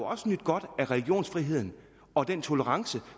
også nydt godt af religionsfriheden og den tolerance